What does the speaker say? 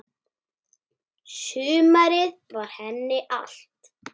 Sumarið var henni allt.